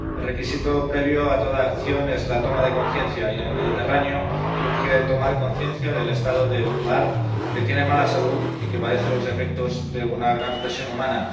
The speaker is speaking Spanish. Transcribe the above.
El requisito previo a toda acción es la toma de conciencia, y en el Mediterráneo urge tomar conciencia del estado de un mar que tiene mala salud y que padece los efectos de una gran presión humana.